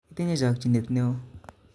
Itinye chokyinet neo